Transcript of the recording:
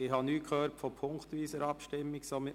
Ich habe nichts von einer punktweisen Abstimmung gehört.